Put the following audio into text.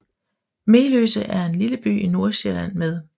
Meløse er en lille by i Nordsjælland med